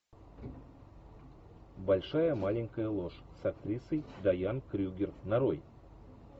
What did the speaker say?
большая маленькая ложь с актрисой дайан крюгер нарой